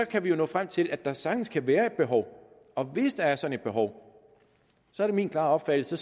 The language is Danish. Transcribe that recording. kan vi jo nå frem til at der sagtens kan være et behov og hvis der er sådan et behov er det min klare opfattelse